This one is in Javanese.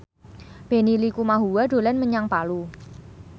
Benny Likumahua dolan menyang Palu